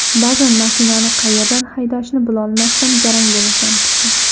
Ba’zan mashinani qayerdan haydashni bilolmasdan garang bo‘lasan kishi”.